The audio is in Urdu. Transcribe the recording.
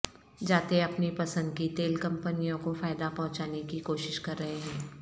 جاتے اپنی پسند کی تیل کمپنیوں کو فائدہ پہنچانے کی کوشش کر رہے ہیں